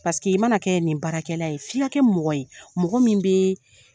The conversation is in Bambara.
Paseke i mana kɛ nin baarakɛla ye f'i ka kɛ mɔgɔ ye mɔgɔ min bɛɛ